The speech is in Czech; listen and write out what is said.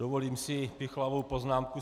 Dovolím si pichlavou poznámku.